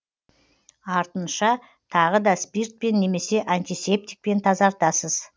артынша тағы да спиртпен немесе антисептикпен тазартасыз